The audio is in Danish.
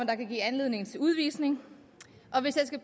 der kan give anledning til udvisning